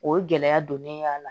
O ye gɛlɛya don ne ye a la